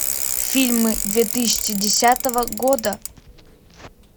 фильмы две тысячи десятого года